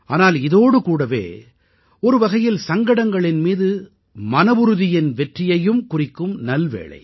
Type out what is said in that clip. ஆனால் இதோடு கூடவே ஒருவகையில் சங்கடங்களின் மீது மனவுறுதியின் வெற்றியையும் குறிக்கும் நல்வேளை